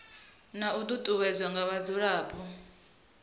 na u ṱuṱuwedzwa nga vhadzulapo